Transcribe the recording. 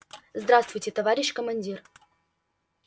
здравствуйте товарищ командир